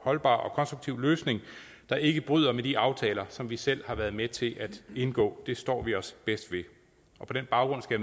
holdbar og konstruktiv løsning der ikke bryder med de aftaler som vi selv har været med til at indgå det står vi os bedst ved på den baggrund skal